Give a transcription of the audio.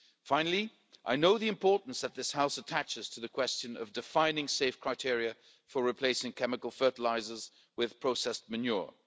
Finally, I know the importance that this House attaches to the question of defining safe criteria for replacing chemical fertilisers with processed manure.